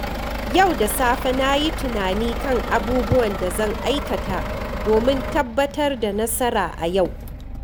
Yau da safe, na yi tunani kan abubuwan da zan aikata domin tabbatar da nasara a yau.